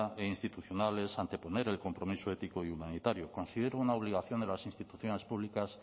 e institucional es anteponer el compromiso ético y humanitario considero una obligación de las instituciones públicas